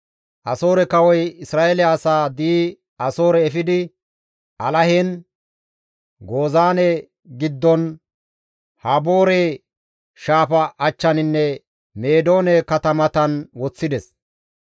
Asoore kawoy Isra7eele asaa di7i Asoore efidi Alahen, Gozaane giddon, Haboore shaafa achchaninne Meedoone katamatan woththides.